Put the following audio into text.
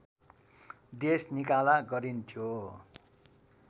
देश निकाला गरिन्थ्यो